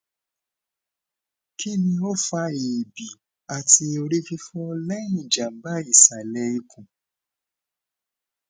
kini o fa eebi ati orififo lẹhin jamba isale ikun